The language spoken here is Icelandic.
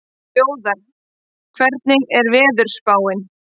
Þjóðar, hvernig er veðurspáin?